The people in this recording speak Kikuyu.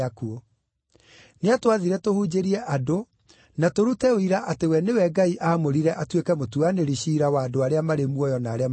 Nĩatwathire tũhunjĩrie andũ na tũrute ũira atĩ we nĩ we Ngai aamũrire atuĩke mũtuanĩri-ciira wa andũ arĩa marĩ muoyo na arĩa makuĩte.